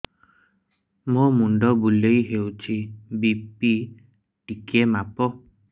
ମୋ ମୁଣ୍ଡ ବୁଲେଇ ହଉଚି ବି.ପି ଟିକେ ମାପ